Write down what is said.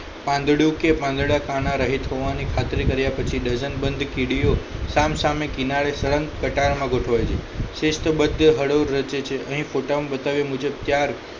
પાંદડું કે પાંદડા કાના રહે જોવાની ખાતરી કર્યા પછી ડઝન બંધ કીડીઓ સામસામે કિનારે સળંગ કટારમાં ગોઠવાય છે શ્રેષ્ઠ બધ હડો રચે છે અહીં ફોટામાં બતાવ્યા મુજબ